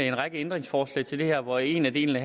en række ændringsforslag til det her hvor en af delene